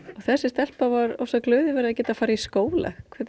þessi stelpa var ofsa glöð yfir því að geta farið í skóla hvað